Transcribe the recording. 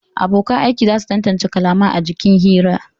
Abonkan aiki za su tantance kalamai a jikin hira